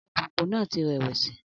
Alùpùpù náà ti rẹ̀wẹ̀sì.